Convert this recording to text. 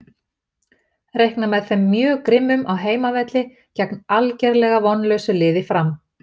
Reikna með þeim mjög grimmum á heimavelli gegn algerlega vonlausu liði Fram.